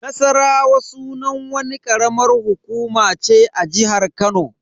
Nassarawa sunan wani karamar hukuma ce a jihar Kano.